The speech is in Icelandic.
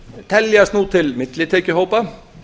teljast nú til millitekjuhópa